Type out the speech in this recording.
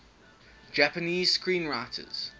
japanese screenwriters